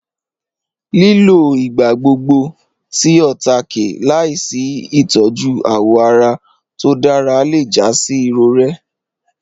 Lílọ̀ igbàgbọ́gbọ̀ tí ọ̀táàké làásì itọ̀jú awọ́ ará tó dára lẹ́ já sí irọ̀rẹ̀.